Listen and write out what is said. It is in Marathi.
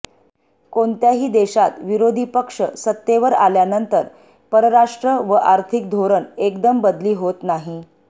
कोणत्याही देशात विरोधी पक्ष सत्तेवर आल्यानंतर परराष्ट्र व आर्थिक धोरण एकदम बदली होत नाही